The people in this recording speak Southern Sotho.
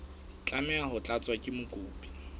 tlameha ho tlatswa ke mokopi